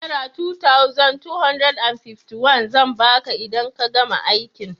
Naira 2251 zan ba ka idan ka gama aikin.